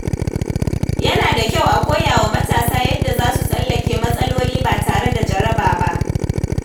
Yana da kyau a koya wa matasa yadda za su tsallake matsaloli ba tare da jaraba ba.